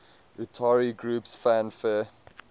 utari groups fanfare